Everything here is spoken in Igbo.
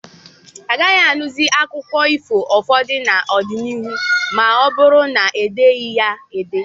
Agaghị anụzi akụkọ ifo ụfọdụ n'ọdịnihu ma ọ bụrụ na e deghị ha ede.